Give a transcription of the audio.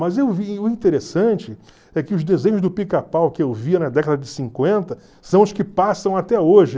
Mas eu via e o interessante é que os desenhos do Pica-Pau que eu via na década de cinquenta são os que passam até hoje.